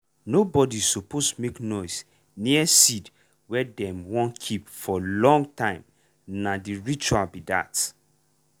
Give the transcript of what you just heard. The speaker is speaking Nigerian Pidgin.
nobody suppose make noise near seed wey dem wun keep for long time na the ritual be that.